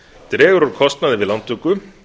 dregur úr kostnaði við lántöku